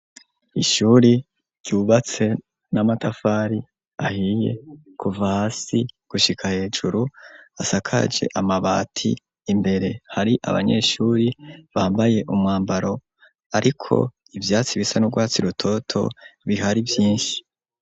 Ishuri ryubatse n'amatafari ahiye kuva hasi gushika hejuru asakaje amabati imbere hari abanyeshuri bambaye umwambaro, ariko ivyatsi bisa n'urwatsi rutoto bihari vyinshi.